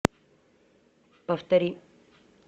повтори